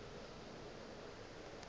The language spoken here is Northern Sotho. eupša ge e le gore